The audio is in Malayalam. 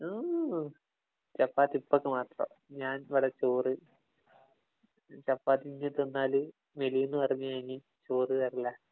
ചപ്പാത്തി ഉപ്പക്കു മാത്രം. ഞാനിവിടെ ചോറ്. ചപ്പാത്തി ഇജ്ജ് തിന്നാല് മെലിയുമെന്നു പറഞ്ഞു ചോറ് തരില്ല.